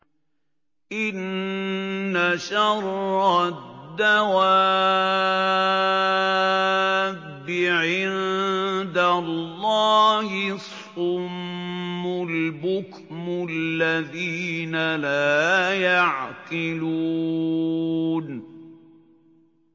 ۞ إِنَّ شَرَّ الدَّوَابِّ عِندَ اللَّهِ الصُّمُّ الْبُكْمُ الَّذِينَ لَا يَعْقِلُونَ